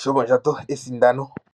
shomondjato esindano.